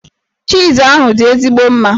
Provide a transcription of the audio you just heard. Chiiz ahụ dị ezigbo mma.